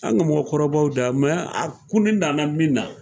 An ka mɔgɔkɔrɔbaw da a kun nana min na.